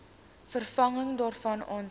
vervanging daarvan aansoek